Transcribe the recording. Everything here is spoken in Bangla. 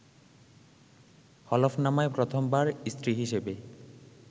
হলফনামায় প্রথম বার স্ত্রী হিসেবে